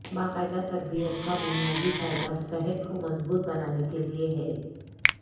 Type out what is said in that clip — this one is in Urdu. باقاعدہ تربیت کا بنیادی فائدہ صحت کو مضبوط بنانے کے لئے ہے